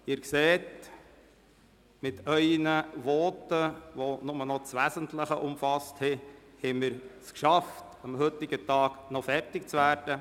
Sie sehen, dass wir es mit Ihren Voten, welche lediglich das Wesentliche umfassten, geschafft haben, noch am heutigen Tag fertig zu werden.